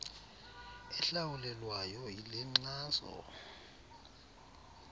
ehlawulelwayo yile nkxaso